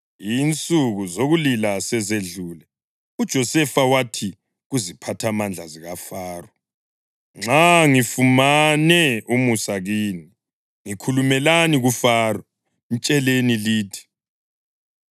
Insuku zokulila sezedlule, uJosefa wathi kuziphathamandla zikaFaro, “Nxa ngifumane umusa kini, ngikhulumelani kuFaro. Mtsheleni lithi,